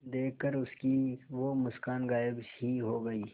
देखकर उसकी वो मुस्कान गायब ही हो गयी